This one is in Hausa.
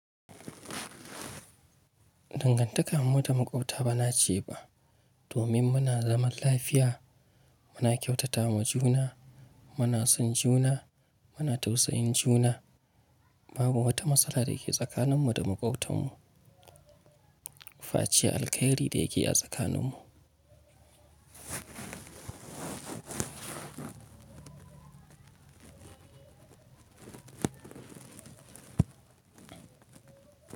Dangantakar mu da makwabta ba na ce ba domin muna zaman lafiya, muna kyautata wa juna, muna son juna, muna tausayin juna. Babu wata matsala da ke tsakaninmu da makwabtanmu. Fa ce alkhairi da yake a tsakaninmu.